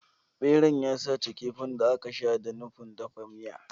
Beran ya sace kifin da aka sha da nufin dafa miya.